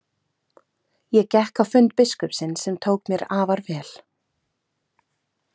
Ég gekk á fund biskupsins sem tók mér afar vel.